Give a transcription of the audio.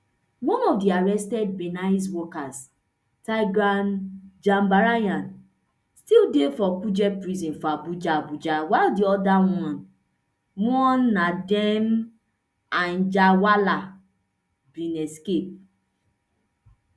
one of di arrested binance workers tigran gambaryan still dey for kuje prison for abuja abuja while di oda one nadeem anjarwalla bin escape